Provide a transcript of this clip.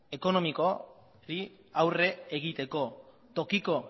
ekonomikori aurre egiteko tokiko